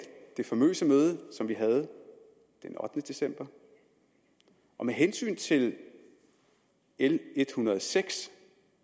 det famøse møde som vi havde den ottende december med hensyn til l en hundrede og seks